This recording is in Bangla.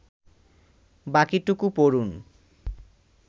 বাকিটুকু পড়ুন